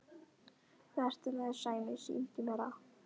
Hvað ertu með Sæmi, sýndu mér það!